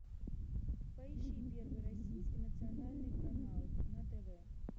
поищи первый российский национальный канал на тв